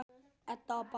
Edda og Bárður.